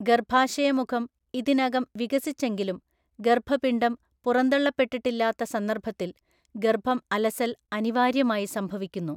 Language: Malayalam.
ഗർഭാശയമുഖം ഇതിനകം വികസിച്ചെങ്കിലും ഗർഭപിണ്ഡം പുറന്തള്ളപ്പെട്ടിട്ടില്ലാത്ത സന്ദർഭത്തിൽ ഗർഭം അലസൽ അനിവാര്യമായി സംഭവിക്കുന്നു.